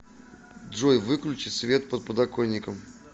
джой выключи свет под подоконником